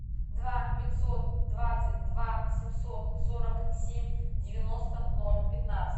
два пятьсот двадцать два семьсот сорок семь девяносто ноль пятнадцать